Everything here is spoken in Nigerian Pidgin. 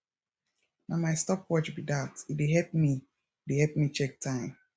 na my stop watch be dat e dey help me dey help me check time